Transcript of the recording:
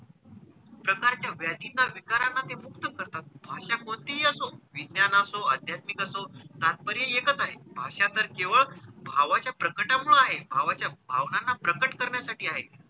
प्रकारच्या व्याधींना विकारांना ते मुक्त करतात. भाषा कोणतीही असो विज्ञान असो, अध्यात्मिक असो तात्पर्य एकच आहे भाषा तर केवळ भावाच्या प्रकटामुळे आहे, भावाच्या भावनांना प्रकट करण्यासाठी आहे.